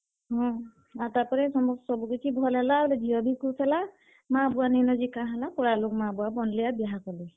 ହଁ, ତାରପରେ ସବୁ କିଛି ଭଲ୍ ହେଲା ଆର୍ ଝିଅ ବି ଖୁସ୍ ହେଲା, ମାଁ-ବୁଆ ନିଁ ନ ଯେ କାଁ ହେଲା ପଡାର୍ ଲୋକ ମାଁ-ବୁଆ ବନ୍ ଲେ ଆଉ ବିହା କଲେ।